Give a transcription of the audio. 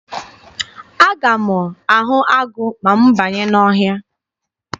Aga m ahụ agụ ma m banye n'ọhịa.